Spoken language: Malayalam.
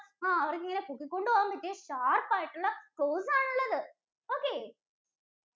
ആഹ് അവര്‍ക്കിങ്ങനെ പോക്കിക്കൊണ്ട് പോകാന്‍പറ്റിയ sharp ആയിട്ടുള്ള claws ആണുള്ളത്. okay